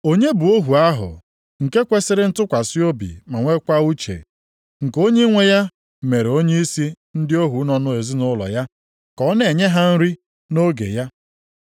“Onye bụ ohu ahụ nke kwesiri ntụkwasị obi ma nwekwa uche, nke onyenwe ya mere onyeisi ndị ohu nọ nʼezinaụlọ ya, ka ọ na-enye ha nri nʼoge ya?